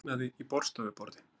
Kviknaði í borðstofuborði